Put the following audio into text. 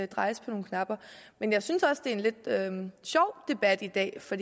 drejes på nogle knapper men jeg synes også det er en lidt sjov debat i dag for